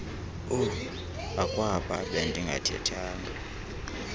uh akwaba bendingathethanga